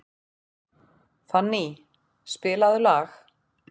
Fanny, spilaðu lag.